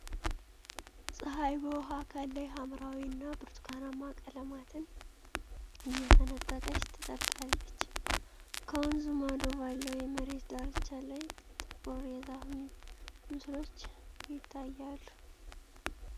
ፀሐይ በውሃ አካል ላይ ሐምራዊ እና ብርቱካንማ ቀለማትን እየፈነጠቀች ትጠልቃለች። ከወንዙ ማዶ ባለው የመሬት ዳርቻ ላይ ጥቁር የዛፍ ምስሎች ይታያሉ።